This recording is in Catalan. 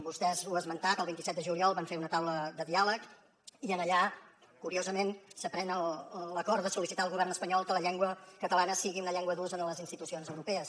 vostè ho ha esmentat el vint set de juliol van fer una taula de diàleg i allà curiosament se pren l’acord de sol·licitar al govern espanyol que la llengua catalana sigui una llengua d’ús a les institucions europees